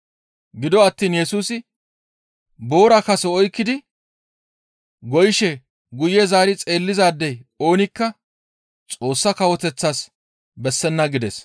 Gido attiin Yesusi, «Boora kaso oykkidi goyishe guye zaari xeellizaadey oonikka Xoossa Kawoteththas bessenna» gides.